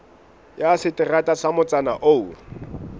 ya seterata sa motsana oo